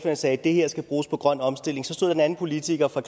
og sagde det her skal bruges på grøn omstilling så stod der en anden politiker fra